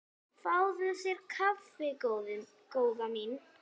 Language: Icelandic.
Fáðu þér kaffi góða mín.